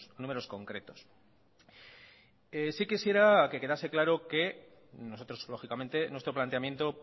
números concretos sí quisiera que quedase claro que nosotros lógicamente nuestro planteamiento